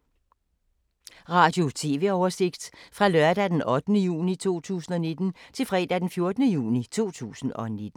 Radio/TV oversigt fra lørdag d. 8. juni 2019 til fredag d. 14. juni 2019